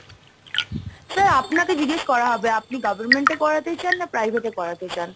sir আপনাকে জিজ্ঞেস করা হবে আপনি government এ করাতে চান না private এ করাতে চান?